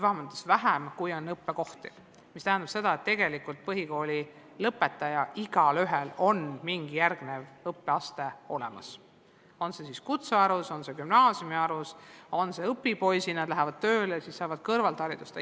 Õppekohti on rohkem ja see tähendab seda, et tegelikult on igal põhikooli lõpetajal mingi järgmine õppeaste kindlustatud – on see siis kutsekoolis, on see gümnaasiumis, on see õpipoisina, st nad lähevad tööle ja saavad selle kõrval haridust.